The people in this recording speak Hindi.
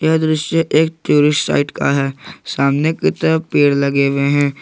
यह दृष्टि एक टूरिस्ट साइट का है सामने की तरफ पेड़ लगे हुए हैं।